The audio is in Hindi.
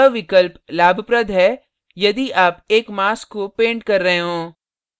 यह विकल्प लाभप्रद है यदि आप एक mask को पेंट कर रहे हों